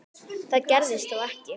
Það gerðist þó ekki.